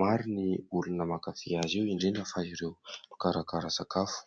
Maro ny olona mankafy azy io indrindra fa ireo mikarakara sakafo.